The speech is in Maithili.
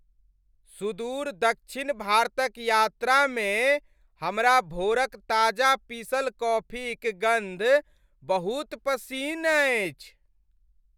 सुदूर दक्षिण भारतक यात्रा में हमरा भोरक ताजा पीसल कॉफीक गन्ध बहुत पसिन्न अछि।